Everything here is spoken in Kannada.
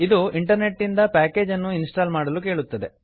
ಇದು ಇಂಟರ್ನೆಟ್ ನಿಂದ ಪ್ಯಾಕೇಜನ್ನು ಇನ್ಸ್ಟಾಲ್ ಮಾಡಲು ಕೇಳುತ್ತದೆ